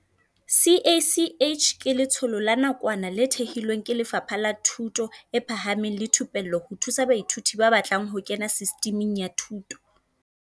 CACH ke letsholo la nakwana le thehilweng ke Lefapha la Thuto e Phahameng le Thupello ho thusa baithuti ba batlang ho kena Sistiming ya Thuto